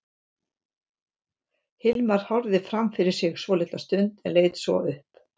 Hilmar horfði fram fyrir sig svolitla stund en leit svo upp.